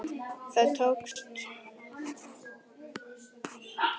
Það tókst því miður ekki.